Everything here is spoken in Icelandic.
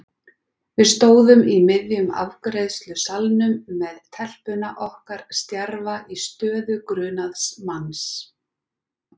Við stóðum í miðjum afgreiðslusalnum með telpuna okkar stjarfa í stöðu grunaðs manns.